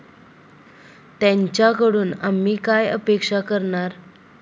त्यांच्याकडून आम्ही काय अपेक्षा करणार?